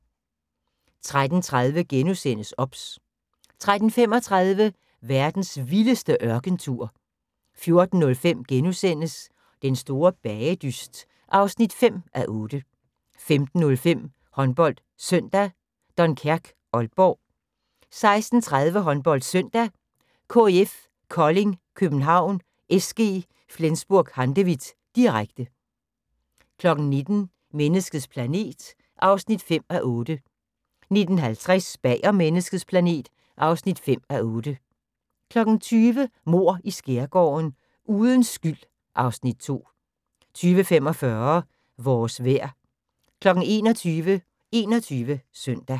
13:30: OBS * 13:35: Verdens vildeste ørkentur 14:05: Den Store Bagedyst (5:8)* 15:05: HåndboldSøndag: Dunkerque-Aalborg 16:30: HåndboldSøndag: KIF Kolding København-SG Flensburg Handewitt, direkte 19:00: Menneskets planet (5:8) 19:50: Bag om menneskets planet (5:8) 20:00: Mord i Skærgården: Uden skyld (Afs. 2) 20:45: Vores vejr 21:00: 21 Søndag